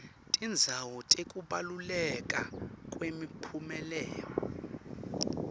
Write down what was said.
tindzawo tekubaluleka kwemiphumela